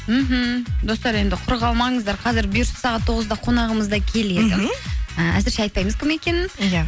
мхм достар енді құр қалмаңыздар қазір бұйырса сағат тоғызда қонағымыз да келеді мхм і әзірше айтпаймыз кім екенін иә